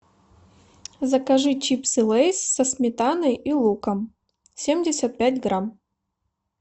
закажи чипсы лейс со сметаной и луком семьдесят пять грамм